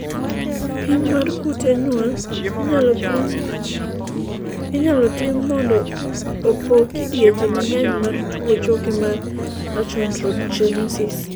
pim mar kute nyuol inyalo tim mondo opog kidienje mang'eny mar tuo choke mar achondrogenesis